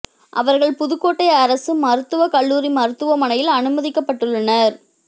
அவர்கள் புதுக்கோட்டை அரசு மருத்துவ கல்லூரி மருத்துவ மனையில் அனுமதிக்கப்பட்டுள்ளனர்